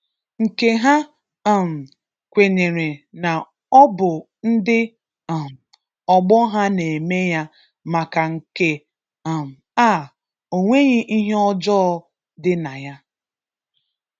nke ha um kwenyere na ọ bụ ndị um ọgbọ ha na-eme ya maka nke um a, o nweghị ihe ọjọọ dị na ya.